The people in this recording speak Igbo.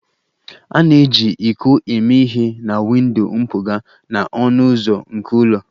A na-eji iko eme ihe na windo mpụga na ọnụ ụzọ nke ụlọ